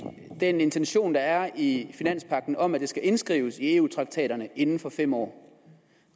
den intention der er i finanspagten om at det skal indskrives i eu traktaterne inden for fem år